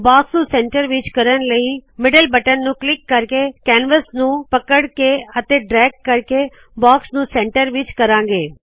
box ਨੂ centre ਵਿਚ ਕਰਣ ਲਇ ਮਿਡਲ ਬਟਨ ਨੂ ਕਲਿੱਕ ਕਰਕੇ ਕੈਨਵਸ ਨੂ ਪਕੜ ਕੇ ਅਤੇ ਡਰੈਗ ਕਰਕੇ ਬਾਕਸ ਨੂ ਸੈਂਟਰ ਕਰਾੰ ਗੇ